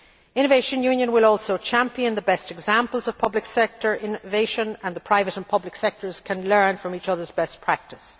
Innovation Union will also champion the best examples of public sector innovation, and the private and public sectors can learn from each other's best practice.